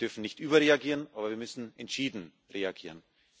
Wir dürfen nicht überreagieren, aber wir müssen entschieden reagieren.